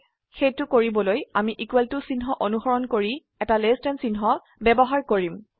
সেইটো কৰিবলৈ আমি ইকুয়েল টু চিহ্ন অনুসৰন কৰি এটা লেস দেন চিহ্ন ব্যবহাৰ কৰিম